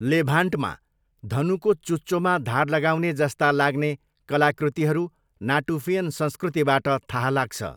लेभान्टमा, धनुको चुच्चोमा धार लगाउने जस्ता लाग्ने कलाकृतिहरू नाटुफियन संस्कृतिबाट थाहा लाग्छ।